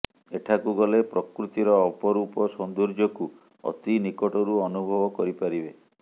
ଏଠାକୁ ଗଲେ ପ୍ରକୃତିର ଅପରୂପ ସୌନ୍ଦର୍ଯ୍ୟକୁ ଅତି ନିକଟରୁ ଅନୁଭବ କରି ପାରିବେ